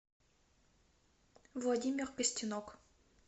владимир костенок